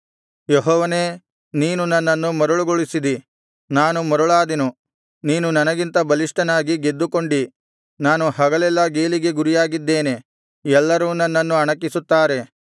ಯೆಹೋವನೇ ನೀನು ನನ್ನನ್ನು ಮರುಳುಗೊಳಿಸಿದಿ ನಾನು ಮರುಳಾದೆನು ನೀನು ನನಗಿಂತ ಬಲಿಷ್ಠನಾಗಿ ಗೆದ್ದುಕೊಂಡಿ ನಾನು ಹಗಲೆಲ್ಲಾ ಗೇಲಿಗೆ ಗುರಿಯಾಗಿದ್ದೇನೆ ಎಲ್ಲರೂ ನನ್ನನ್ನು ಅಣಕಿಸುತ್ತಾರೆ